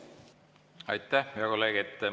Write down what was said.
Aitäh, hea kolleeg!